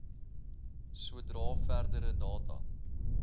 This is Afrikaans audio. sodra verdere data